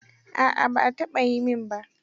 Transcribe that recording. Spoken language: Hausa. A'a ba a taɓa yi min ba.